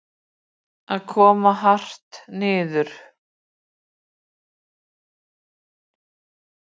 Að koma hart niður